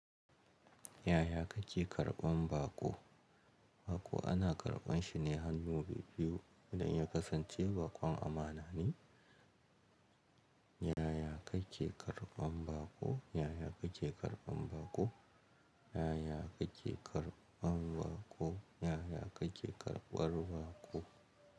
Yaya kake karɓan baƙo? Baƙo ana karɓan shi ne hannu bi-biyu idan ya kasance baƙon amana ne. Yaya kake karɓan baƙo? Yaya kake karɓan baƙo? Yaya kake karɓan baƙo? Yaya kake karɓar baƙo?